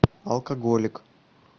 алкоголик